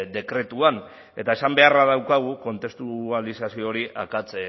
dekretuan eta esan beharra daukagu kontestualizazio hori akats